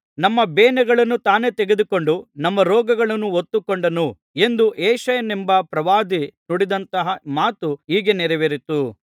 ಇದರಿಂದ ನಮ್ಮ ಬೇನೆಗಳನ್ನು ತಾನೇ ತೆಗೆದುಕೊಂಡು ನಮ್ಮ ರೋಗಗಳನ್ನು ಹೊತ್ತುಕೊಂಡನು ಎಂದು ಯೆಶಾಯನೆಂಬ ಪ್ರವಾದಿ ನುಡಿದಂತಹ ಮಾತು ಹೀಗೆ ನೆರವೇರಿತು